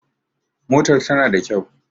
Motar ta na da kyau